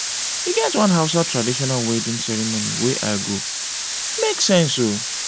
e get one hausa traditional wedding ceremony wey i go e make sense o.